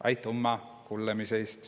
Aitümma kullõmast!